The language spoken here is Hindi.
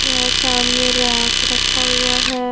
यहां सामने रैक रखा हुआ है।